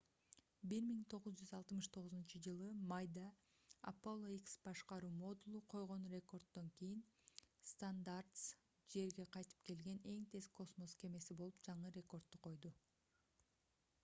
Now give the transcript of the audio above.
1969-ж майда apollo x башкаруу модулу койгон рекорддон кийин stardust жерге кайтып келген эң тез космос кемеси болуп жаңы рекордду койду